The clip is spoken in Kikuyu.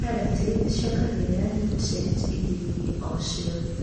Karati nĩciongagĩrĩra niutrienti irioinĩ o ciothe.